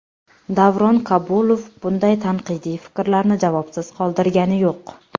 Davron Kabulov bunday tanqidiy fikrlarni javobsiz qoldirgani yo‘q.